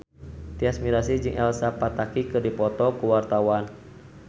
Tyas Mirasih jeung Elsa Pataky keur dipoto ku wartawan